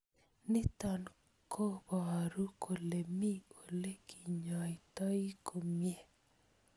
Nitok ko poru kole me ole kinyoitoi komie.